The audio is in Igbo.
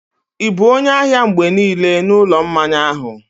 ị bụ onye ahịa mgbe niile n'ụlọ mmanya ahụ?